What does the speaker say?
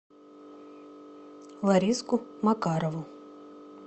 лариску макарову